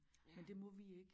Men det må vi ik